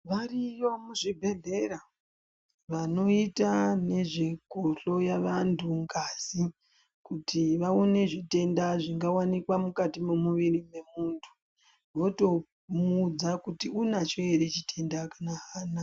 Variyo muzvibhedhlera vanoite nezvekuhloya vandu ngazi kuti vaone zvitenda zvingawanikwa mukati momuwiri momundu votomuudza kuti unacho here chitenda kana haana.